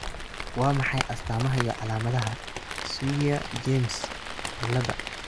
Waa maxay astamaha iyo calaamadaha Swyer James ciilada?